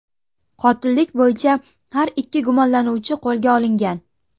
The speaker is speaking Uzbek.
Qotillik bo‘yicha har ikki gumonlanuvchi qo‘lga olingan.